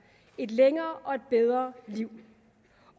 et længere og et bedre liv